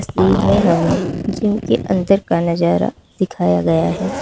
तस्वीर मे हमें जिम के अंदर का नजारा दिखाया गया है।